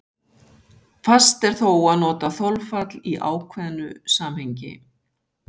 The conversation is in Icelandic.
Fast er þó að nota þolfall í ákveðnu samhengi.